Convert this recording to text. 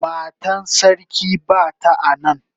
Matan sarki bata a nan.